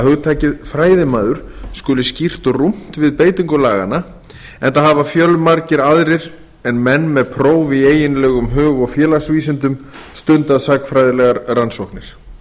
hugtakið fræðimaður skuli skýrt rúmt við beitingu laganna enda hafa fjölmargir aðrir en menn með próf í eiginlegum hug og félagsvísindum stundað sagnfræðilegar rannsóknir